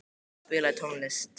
Áskell, spilaðu tónlist.